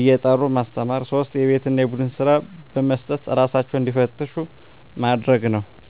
እየጠሩ ማስተማር 3 የቤት እና የቡድን ስራ በመስጠት እራሳቸውን እንዲፈትሹ ማድረግ ነው